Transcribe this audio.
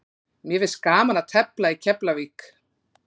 Mér finnst gaman að tefla í Keflavík.